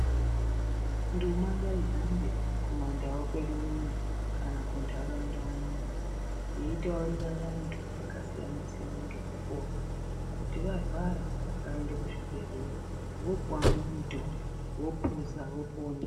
Nduma ngaihambe kumandau kwedu iyoyo kana kundaraunda iyoyo veitaurira vantu vakasiyana siyana nemitombo kuti varwara vaende kuzvibhedhlera vopuwa mitombo vapedza vopona.